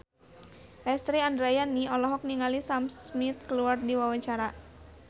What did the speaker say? Lesti Andryani olohok ningali Sam Smith keur diwawancara